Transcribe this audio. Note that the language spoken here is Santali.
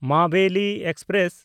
ᱢᱟᱵᱮᱞᱤ ᱮᱠᱥᱯᱨᱮᱥ